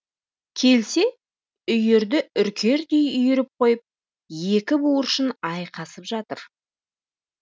келсе үйірді үркердей үйіріп қойып екі буыршын айқасып жатыр